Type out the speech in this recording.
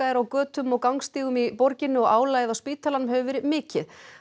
er á götum og gangstígum í borginni og álagið á spítalanum hefur verið mikið